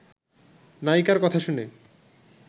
নায়িকার কথা শুনে